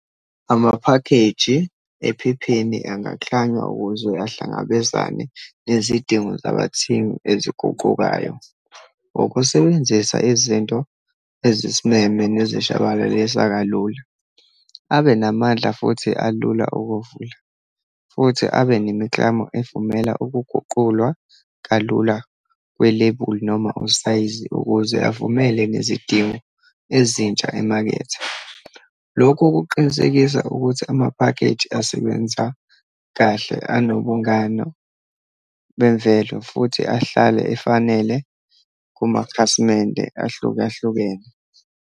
Amaphakheji ephepheni angaklanywa ukuze ahlangabezane nezidingo zabathengi eziguqukayo. Ukusebenzisa izinto ezisimeme nezishabalalisa kalula, abenamandla futhi alula ukuwavula, futhi abenemiklamo evumela ukuguqulwa kalula kwelebuli, noma usayizi ukuze avumele nezidingo ezintsha emakethe. Lokhu kuqinisekisa ukuthi amaphakeji asebenza kahle, anobungano bemvelo, futhi ahlale efanele kumakhasimende ahlukahlukene.